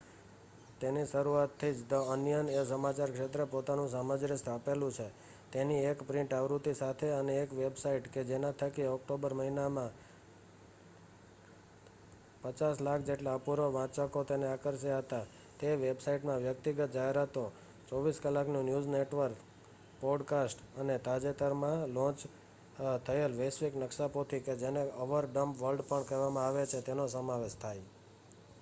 તેની શરુઆથી જ ધ અનિયન એ સમાચાર ક્ષેત્રે પોતાનું સામ્રાજ્ય સ્થાપેલું છે તેની એક પ્રિન્ટ આવૃત્તિ સાથે અને એક વેબસાઈટ કે જેના થકી ઓક્ટોબર મહિનામાં 5,000,000 જેટલા અપૂર્વ વાંચકો તેને આકર્ષ્યા હતા. તે વેબસાઈટમાં વ્યક્તિગત જાહેરાતો 24 કલાકનું ન્યૂઝ નેટવર્ક પોડકાસ્ટ અને તાજેતરમાં લોન્ચ થયેલ વૈશ્વિક નક્શાપોથી કે જેને અવર ડમ્બ વર્લ્ડ પણ કહેવામાં આવે છે તેનો સમાવેશ થાય